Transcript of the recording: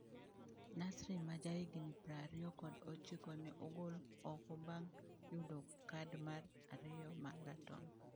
Nasri ma jahigni prariyokod ochiko ne ogol oko bang’ yudo kad mar ariyo ma ratong’.